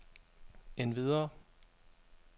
endvidere